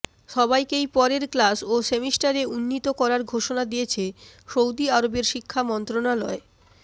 সবাইকেই পরের ক্লাস ও সেমিস্টারে উন্নীত করার ঘোষণা দিয়েছে সৌদি আরবের শিক্ষা মন্ত্রণালয়